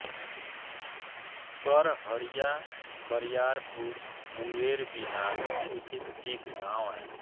करहरिया बरियारपुर मुंगेर बिहार स्थित एक गाँव है